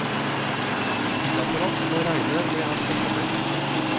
Vi tillater oss å regne med at det kommer.